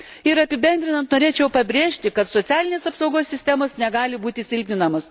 Ir apibendrinant norėčiau pabrėžti, kad socialinės apsaugos sistemos negali būti silpninamos.